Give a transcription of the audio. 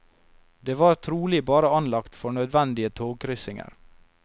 De var trolig bare anlagt for nødvendige togkryssinger.